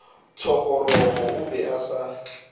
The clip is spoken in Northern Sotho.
thogorogo o be a sa